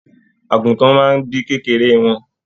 Àgùtàn máa bí kékeré wọn.